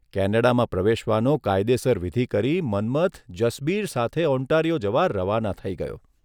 કેનેડામાં પ્રવેશવાનો કાયદેસર વિધિ કરી મન્મથન જસબીર સાથે ઓન્ટારિયો જવા રવાના થઇ ગયો.